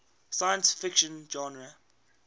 science fiction genre